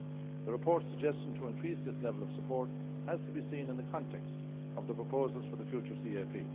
The report's suggestion to increase this level of support has to be seen in the context of the proposals for the future CAP.